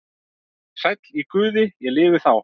Sæll í Guði ég lifi þá.